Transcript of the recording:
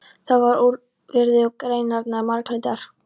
Það var úr viði og greinarnar marglitar.